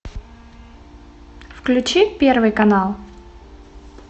включи первый канал